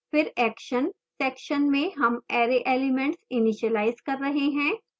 फिर action section में हम array elements इनिशीलाइज कर रहे हैं